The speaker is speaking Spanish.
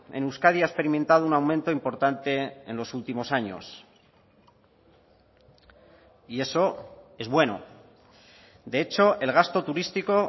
en euskadi ha experimentado un aumento importante en los últimos años y eso es bueno de hecho el gasto turístico